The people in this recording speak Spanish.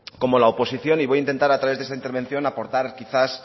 como la oposición y voy a intentar a través de esta intervención aportar quizás